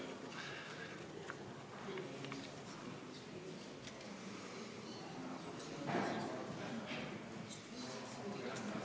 Istungi lõpp kell 15.31.